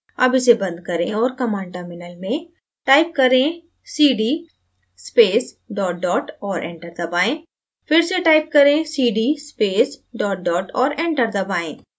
अब इसे बंद करें और command terminal में type करें: cd space dot dot और enter दबाएँ फिर से type करें cd space dot dot और enter दबाएँ